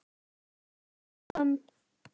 Henni fannst það skömm.